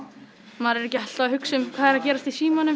maður er ekki alltaf að hugsa um hvað er að gerast í símanum